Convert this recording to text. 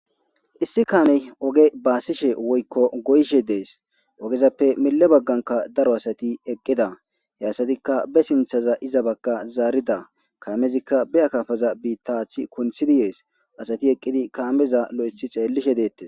Issi kaamey oge baassishe woykko goyshe dees ogezappe mille bagganka daro asati eqqida he assatikka be sinthaza iza bakka zaarida kaamezikka beyakafaza biittaathi kunthi di yees asati eqqidi kaameza lo'ethi xeellishe deette